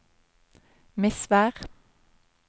Misvær